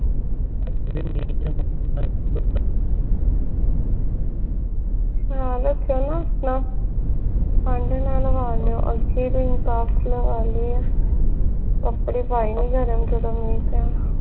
ਖਿਆਲ ਰਖਿਓ ਨਾ ਆਪਣਾ ਠੰਡ ਨਾ ਲਵਾਂ ਲੀਓ ਅੱਗੇ ਤੁਸੀਂ cough ਲਵਾਂ ਲਾਇ ਆ ਕੱਪੜੇ ਪਏ ਨੀ ਗਰਮ ਜਦੋਂ ਮੀਂਹ ਪਿਆ